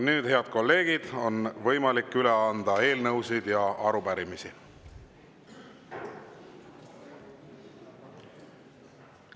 Nüüd, head kolleegid, on võimalik üle anda eelnõusid ja arupärimisi.